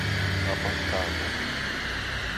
абакану